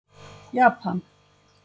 Japan